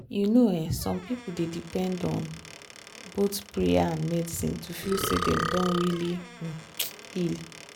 you know um some people dey depend um on both prayer and medicine to feel say dem don really um heal.